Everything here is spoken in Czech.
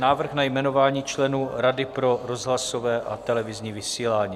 Návrh na jmenování členů Rady pro rozhlasové a televizní vysílání